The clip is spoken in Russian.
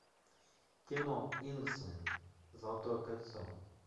кино ингсмен золотое кольцо